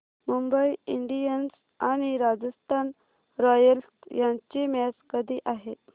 Mumbai Indians आणि Rajasthan Royals यांची match कधी आहे